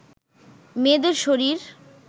মেয়েদের শরীর